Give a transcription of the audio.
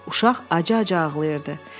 Uşaq acı-acı ağlayırdı.